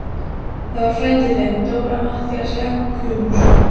Það var frændi þinn, Dóra, Matthías Jochumsson.